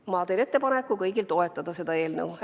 Ma teen kõigile ettepaneku toetada seda eelnõu.